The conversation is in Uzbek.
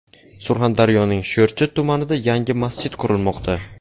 Surxondaryoning Sho‘rchi tumanida yangi masjid qurilmoqda .